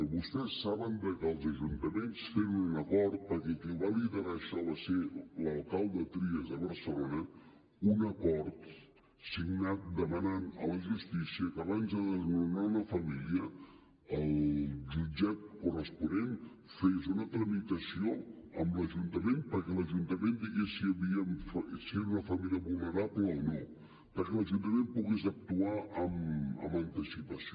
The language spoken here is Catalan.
vostès saben que els ajuntaments tenen un acord perquè qui ho va liderar això va ser l’alcalde trias de barcelona un acord signat demanant a la justícia que abans de desnonar una família el jutjat corresponent fes una tramitació amb l’ajuntament perquè l’ajuntament digués si era una família vulnerable o no perquè l’ajuntament pogués actuar amb anticipació